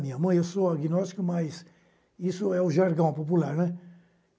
Minha mãe, eu sou agnóstico, mas isso é o jargão popular, né?